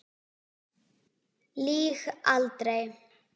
Lýg aldrei.